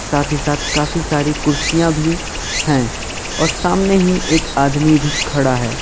साथ ही साथ काफी सारी कुर्सियां भी हैं और सामने ही एक आदमी भी खड़ा है।